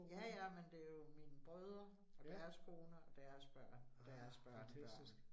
Ja ja, men det jo mine brødre og deres koner, og deres børn og deres børnebørn